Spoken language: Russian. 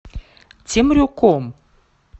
темрюком